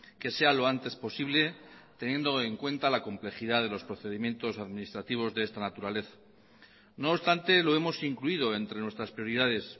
que sea lo antes posible teniendo en cuenta la complejidad de los procedimientos administrativos de esta naturaleza no obstante lo hemos incluido entre nuestras prioridades